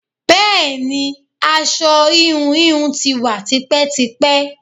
Bẹẹni, aṣọ íhùn íhùn tí wá tipẹ́tipẹ́.